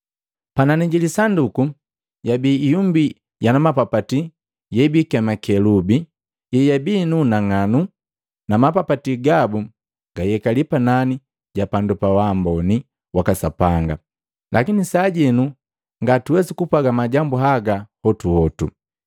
Panani ji lisanduku yabii ihumbi yana mapapati yebiikema kelubi, yeyabii nu unang'anu, na mapapati gabu gayekali panani ja pandu pa wamboni waka Sapanga. Lakini sajenu ngatuwesi kupwaga majambu haga hotuhotu.